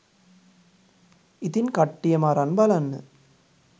ඉතින් කට්ටියම අරන් බලන්න